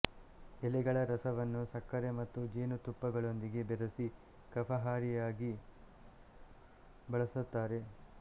ಎಲೆಗಳ ರಸವನ್ನು ಸಕ್ಕರೆ ಮತ್ತು ಜೇನುತುಪ್ಪಗಳೊಂದಿಗೆ ಬೆರೆಸಿ ಕಫಹಾರಿಯಾಗಿ ಬಳಸುತ್ತಾರೆ